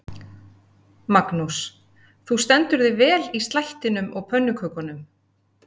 Magnús: Þú stendur þig vel í slættinum og pönnukökunum?